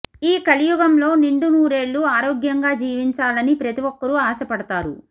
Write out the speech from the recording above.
ఈ కలియుగంలో నిండు నూరేళ్ళు ఆరోగ్యంగా జీవించాలని ప్రతి ఒక్కరూ ఆశపడతారు